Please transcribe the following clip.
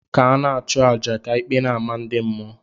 ka ana achu aja, ka ikpe n' amah ndi mmuo.